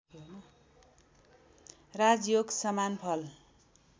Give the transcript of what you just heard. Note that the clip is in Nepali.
राजयोगसमान फल